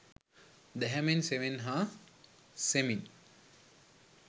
දැහැමෙන් සෙමෙන් හා සෙමින්